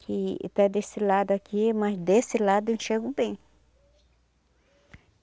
Que está desse lado aqui, mas desse lado eu enxergo bem.